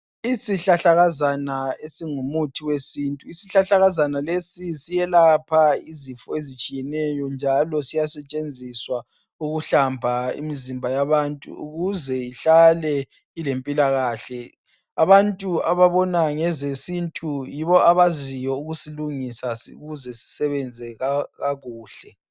Isihlahlakazana esingumuthi wesintu isihlahlakazana lesi siyelapha izifo ezitshiyeneyo njalo siyasetshenziswa ukuhlamba imizimba yabantu ukuze ihlale ilempilakahle .Abantu obabona ngezesintu yibo abaziyo ukusilungisa ukuze sisebenze kakhuhle